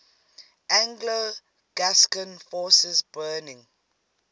anglo gascon forces burning